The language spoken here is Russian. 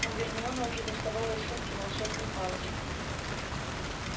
но гермиона уже доставала из сумки волшебную палочку